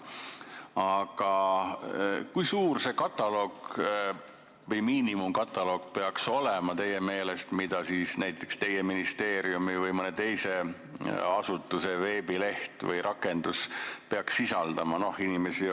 Aga kui suur peaks teie meelest olema see miinimumkataloog, mida näiteks teie ministeeriumi või mõne teise asutuse veebileht või rakendus peaks sisaldama?